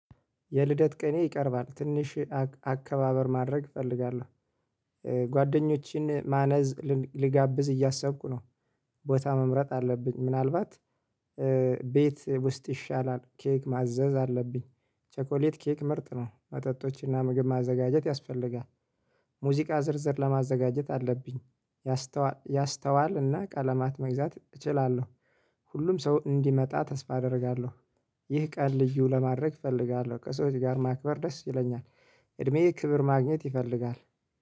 የልደት ቀኔ ይቀርባል ትንሽ አከባበር ማድረግ እፈልጋለሁ ጓደኞቼን ማነዝ ልጋብዝ እያሰብኩ ነው። ቦታ መምረጥ አለብኝ ምናልባት ቤት ውስጥ ይሻላል። ኬክ ማዘዝ አለብኝ ቸኮሌት ኬክ ምርጥ ነው መጠጦችና ምግብ ማዘጋጀት ያስፈልጋል። ሙዚቃ ዝርዝር ለማዘጋጀት አለብኝ። ያስተዋል ያስተዋል እና ቀለማት መግዛት እችላለሁ። ሁሉም ሰው እንዲመጣ ተስፋ አደርጋለሁ። ይህ ቀን ልዩ ለማድረግ እፈልጋለሁ ከሰዎች ጋር ማክበር ደስ ይለኛል። እድሜዬ ክብር ማግኘት ይፈልጋል